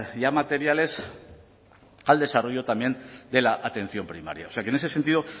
ya materiales al desarrollo también de la atención primaria o sea que en ese sentido